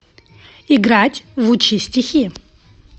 играть в учи стихи